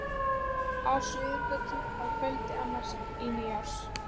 Á Suðurgötu að kvöldi annars í nýári.